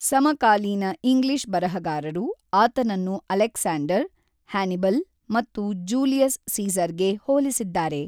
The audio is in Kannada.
ಸಮಕಾಲೀನ ಇಂಗ್ಲಿಷ್ ಬರಹಗಾರರು ಆತನನ್ನು ಅಲೆಕ್ಸಾಂಡರ್, ಹ್ಯಾನಿಬಲ್ ಮತ್ತು ಜೂಲಿಯಸ್ ಸೀಸರ್‌ಗೆ ಹೋಲಿಸಿದ್ದಾರೆ.